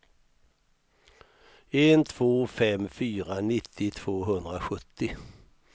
ett två fem fyra nittio tvåhundrasjuttio